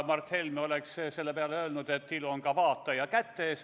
Mart Helme oleks selle peale öelnud, et ilu on ka vaataja kätes.